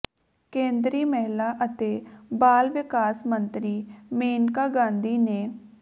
ਕੇਂਦਰੀ ਮਹਿਲਾ ਅਤੇ ਬਾਲ ਵਿਕਾਸ ਮੰਤਰੀ ਮੇਨਕਾ ਗਾਂਧੀ ਨੇ